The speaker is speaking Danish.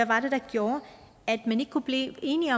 var der gjorde at man ikke kunne blive enige